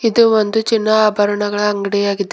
ಇದು ಒಂದು ಚಿನ್ನ ಆಭರಣಗಳ ಅಂಗಡಿಯಾಗಿದೆ.